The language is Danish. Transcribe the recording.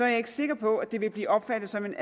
jeg ikke sikker på at det vil blive opfattet som en